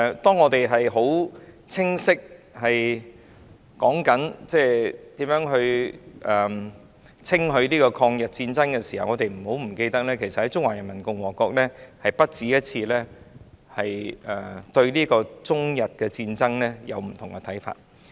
當我們在清晰討論如何稱許抗日戰爭時，請大家不要忘記，中華人民共和國曾不止一次對中日戰爭出現不同的看法。